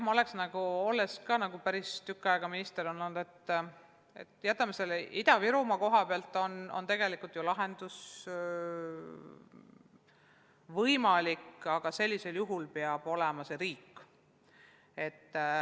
Olles päris tükk aega minister olnud, ma tean, et Ida-Virumaal on tegelikult lahendus võimalik, aga sellisel juhul peab otsustama riik.